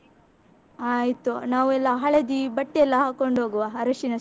ಆಯ್ತು, ನಾವೆಲ್ಲ ಹಳದಿ ಬಟ್ಟೆಯೆಲ್ಲ ಹಾಕೊಂಡು ಹೋಗುವ ಅರಶಿನ.